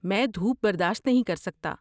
میں دھوپ برداشت نہیں کر سکتا۔